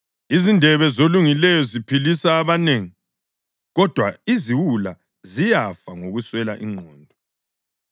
Izindebe zolungileyo ziphilisa abanengi; kodwa iziwula ziyafa ngokuswela ingqondo.